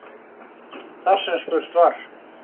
Þar sem spurt var